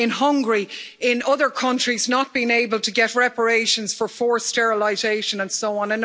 In Hungary, in other countries, not been able to get reparations for forced sterilisation, and so on.